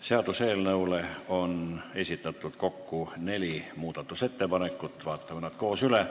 Seaduseelnõu kohta on esitatud neli muudatusettepanekut, vaatame need koos üle.